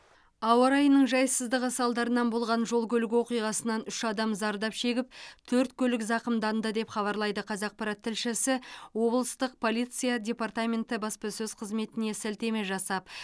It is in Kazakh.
ауа райының жайсыздығы салдарынан болған жол көлік оқиғасынан үш адам зардап шегіп төрт көлік зақымданды деп хабарлайды қазақпарат тілшісі облыстық полиция департаменті баспасөз қызметіне сілтеме жасап